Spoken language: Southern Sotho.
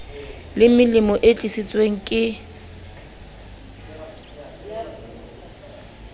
le melemo e tlisitsweng ke